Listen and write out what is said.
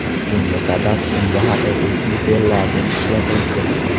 Bunga sabab unga haqiqiy tryufellarning ishlatilishi.